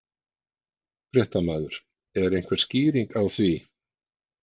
Fréttamaður: Er einhver skýring á því?